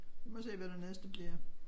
Vi må se hvad det næste bliver